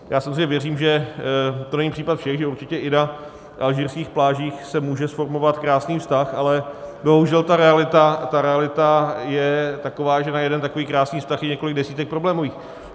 Já samozřejmě věřím, že to není případ všech, že určitě i na alžírských plážích se může zformovat krásný vztah, ale bohužel ta realita je taková, že na jeden takový krásný vztah je několik desítek problémových.